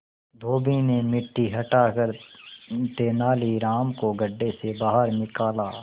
धोबी ने मिट्टी हटाकर तेनालीराम को गड्ढे से बाहर निकाला